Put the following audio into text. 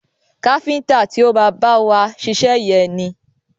Káfíntà ti o má bá wa ṣiṣẹ́ yẹn ni.